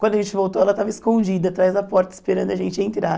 Quando a gente voltou, ela estava escondida atrás da porta esperando a gente entrar.